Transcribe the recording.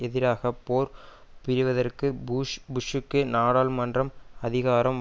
எதிராக போர் புரிவதற்கு பூஷ் புஷ்ஷுக்கு நாடாளுமன்றம் அதிகாரம்